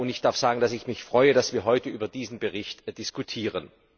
Ich darf sagen, dass ich mich freue, dass wir heute über diesen Bericht diskutieren.